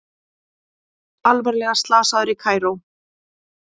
Alvarlega slasaður í Kaíró